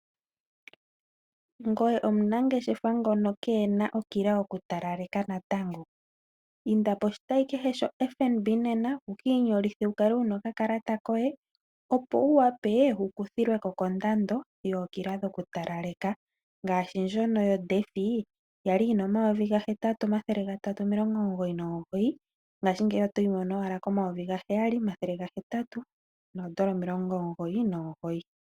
Ngoye omunangeshefa ngono kena omila yoku talaleka natango inda poshitsyi kehe sho FBN nena wuki inyolithe wukale wuna oka kalata koye opowu wape wukuthilweko kondando yookila dhoku talaleka, ngashi ndjono yo Defy yali yina 8399 ngashingeyi otoyi mono owala ko 7899.